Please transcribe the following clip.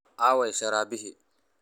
Aaway sharabadihii?